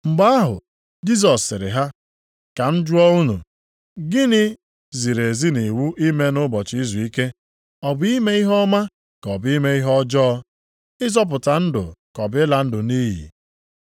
Mgbe ahụ Jisọs sịrị ha, “Ka m jụọ unu, gịnị ziri ezi nʼiwu ime nʼụbọchị izuike; ọ bụ ime ihe ọma ka ọ bụ ime ihe ọjọọ; ịzọpụta ndụ ka ọ bụ ịla ndụ nʼiyi?”